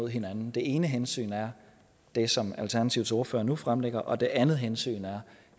hinanden det ene hensyn er det som alternativets ordfører nu fremlægger og det andet hensyn er